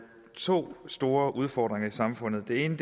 to store udfordringer i samfundet den ene